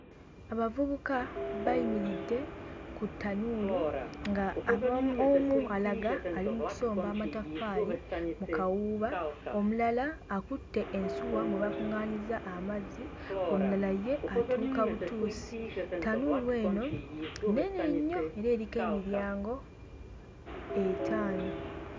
Abavubuka bayimiridde ku ttanuulu nga ab'omu omu ali mu kusomba mataffaali mu kawuuba omulala akutte ensuwa mwe bakuŋŋaanyiza amazzi omulala ye atuuka butuusi. Ttanuulu eno nnene nnyo era eriko emiryango etaano.